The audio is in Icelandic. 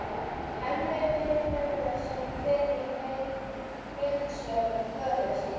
Hemmi vinnur sem fyrr í heildsölu föður síns.